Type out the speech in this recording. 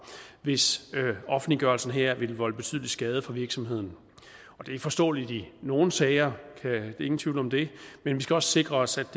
hvis offentliggørelsen her vil volde betydelig skade for virksomheden og det er forståeligt i nogle sager ingen tvivl om det men vi skal også sikre os